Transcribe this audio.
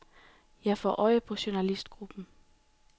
Jeg får øje på journalistgruppen.